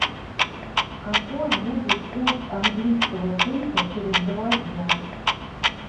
какой будет курс английского фунта через два дня